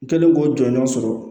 N kɛlen k'o jɔɲɔ sɔrɔ